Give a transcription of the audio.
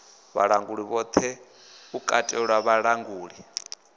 vhalanguli vhoṱhe u katela vhalanguli